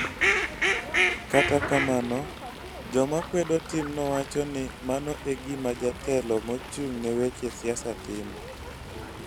Kata kamano, joma kwedo timno wacho ni mano e gima jatelo mochung' ne weche siasa timo.